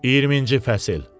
20-ci fəsil.